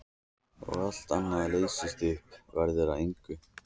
Og allt annað leysist upp, verður að engu.